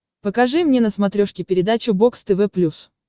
покажи мне на смотрешке передачу бокс тв плюс